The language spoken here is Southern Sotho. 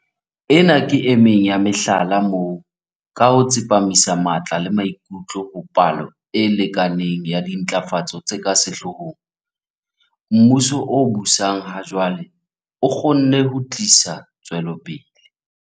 Ena ke emeng ya mehlala moo, ka ho tsepamisa matla le maikutlo ho palo e lekaneng ya dintlafatso tse ka sehloohong, mmuso o busang ha jwale o kgonne ho tlisa tswelopele.